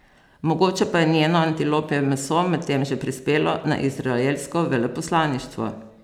Mogoče pa je njeno antilopje meso medtem že prispelo na izraelsko veleposlaništvo?